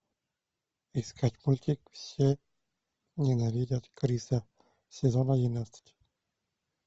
искать мультик все ненавидят криса сезон одиннадцать